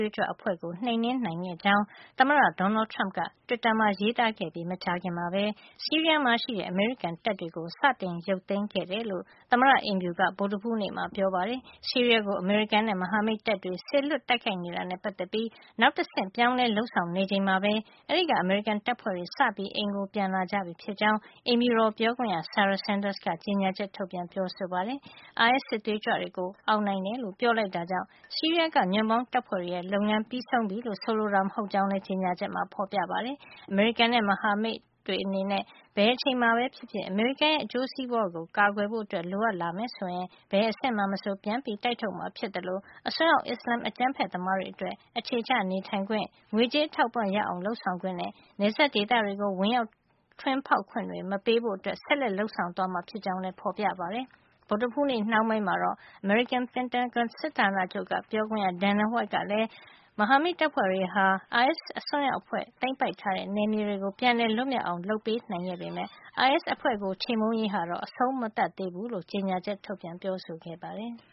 ွေးကြွအဖွဲ့ကို နှိမ်နင်းနိုင်ခဲ့ကြောင်း သမ္မတ Donald Trump က တွစ်တာမှာ ရေးသားခဲ့ပြီး မကြာခင်မှာပဲ ဆီးရီးယားမှာရှိတဲ့ အမေရိကန်တပ်တွေကို စတင်ရုပ်သိမ်းခဲ့ကြောင်း သမ္မတအိမ်ဖြူတော်က ဗုဒ္ဓဟူးနေ့မှာ ပြောပါတယ်။ ဆီးရီးယားရှိ အိုင်အက်စ်တွေ နှိမ်နှင်းရေး အတွက် အမေရိကန်နဲ့ မဟာမိတ်တပ်တွေ စေလွှတ်တိုက်ခိုက်နေတာနဲ့ ပတ်သက်ပြီး နောက်တဆင့်ကူးပြောင်းမှု အနေနဲ့ အဲဒီက အမေရိကန်တပ်ဖွဲ့တွေ စပြီး ဌာနေကိုပြန် ခေါ်နေပြီဖြစ်ကြောင်း အိမ်ဖြူတော် ပြောခွင့်ရ Sarah Sanders က ကြေညာချက် ထုတ်ပြန်ပါတယ်။ အိုင်အက်စ် စစ်သွေးကြွတွေကိုအောင်နိုင်တယ်လို့ ပြောပေမယ့် ဆီးရီးယားက ညွန့်ပေါင်းတပ်ဖွဲ့တွေရဲ့ လုပ်ငန်းပြီးဆုံးပြီလို့ ဆိုလိုတာ မဟုတ်ကြောင်းလည်း ကြေညာချက်မှာ ဖေါ်ပြထားပါတယ်။ အမေရိကန်နဲ့ မဟာမိတ်တွေအနေနဲ့ ဘယ်အချိန်မှာပဲ ဖြစ်ဖြစ် အမေရိကန်ရဲ့ အကျိုးစီးပွါးကို ကာကွယ်ဖို့ လိုအပ်လာမယ် ဆိုရင် ဘယ်အဆင့်မှာမဆို ပြန်ပြီး တိုက်ထုတ်မှာ ဖြစ်သလို အစွန်းရောက် အစ္စလန်အကြမ်းဖက်သမားတွေအတွက် အခြေချနေထိုင်ခွင့်၊ ငွေကြေးအထောက်အပံ့ ရအောင်လုပ်ဆောင်ခွင့်နဲ့ နယ်စပ်ဒေသတွေကို ဝင်ရောက်ထွင်းဖေါက်ခွင့်တွေ မပေးဖို့ ဆက်လက် လုပ်ဆောင်သွားမှာ ဖြစ်ကြောင်းလည်း ဖေါ်ပြထားပါတယ်။ ဗုဒ္ဓဟူးနေ့ နှောင်းပိုင်းမှာတော့ အမေရိကန် ပင်တာဂွန်စစ်ဌာနချုပ်ပြောခွင့်ရ Dana White ကလည်း မဟာမိတ်တပ်ဖွဲ့တွေက အိုင်အက်စ် အစွန်းရောက်အဖွဲ့ သိမ်းပိုက်ထားတဲ့ နယ်မြေတွေ ပြန်လည် လွတ်မြောက်အောင် လုပ်ပေးနိုင်ခဲ့ပေမယ့် အိုင်အက်စ် အဖွဲ့ကို ချေမှုန်းရေးဟာ အဆုံးမသတ်သေးကြောင်း ကြေညာချက် ထုတ်ပြန် ပြောဆိုပါတယ်။